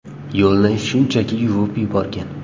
Yo‘lni shunchaki yuvib yuborgan.